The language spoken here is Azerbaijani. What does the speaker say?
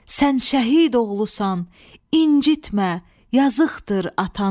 Sən şəhid oğlusan, incitmə, yazıqdır atanı.